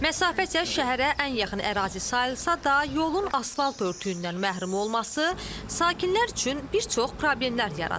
Məsafə isə şəhərə ən yaxın ərazi sayılsa da, yolun asfalt örtüyündən məhrum olması sakinlər üçün bir çox problemlər yaradır.